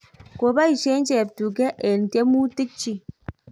ko boisie cheptuge eng' tyemutik chich